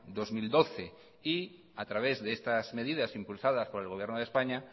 dos mil doce y a través de estas medidas impulsadas por el gobierno de españa